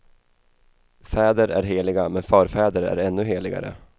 Fäder är heliga, men förfäder är ännu heligare.